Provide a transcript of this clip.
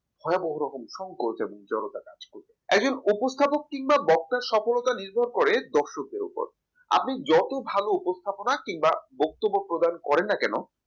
ভয়াবহ রকম সংকোচ এবং জড়তা কাজ করবে একজন উপস্থাপক কিংবা বক্তার সফলতা নির্ভর করে দর্শকের উপর আপনি যত ভালো উপস্থাপনা কিংবা বক্তব্য প্রদান করেন না কেন